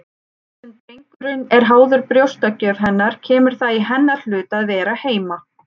Þar sem drengurinn er háður brjóstagjöf hennar kemur það í hennar hlut að vera heima.